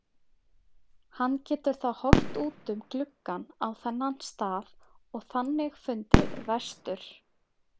Hann getur þá horft út um gluggann á þennan stað og þannig fundið vestur.